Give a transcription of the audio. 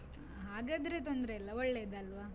ಹಾಗಾದ್ರೆ ತೊಂದ್ರೆ ಇಲ್ಲ, ಒಳ್ಳೇದಲ್ವಾ?